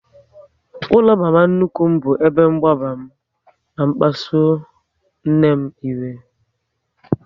Ụlọ mama nnukwu m bụ ebe mgbagba m na kpasuo nne m iwe